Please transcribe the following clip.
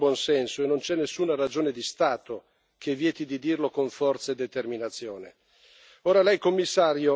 Questa elezione rappresenta uno schiaffo al buon senso e non c'è nessuna ragione di Stato che vieti di dirlo con forza e determinazione.